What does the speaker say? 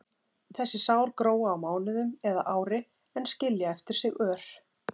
Þessi sár gróa á mánuðum eða ári en skilja eftir sig ör.